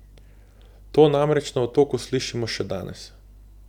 To namreč na Otoku slišimo še danes.